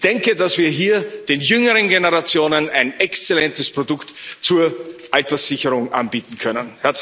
Ich denke, dass wir hier den jüngeren Generationen ein exzellentes Produkt zur Alterssicherung anbieten können.